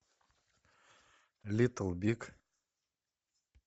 литл биг